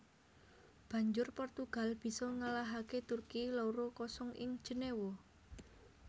Banjur Portugal bisa ngalahaké Turki loro kosong ing Jenéwa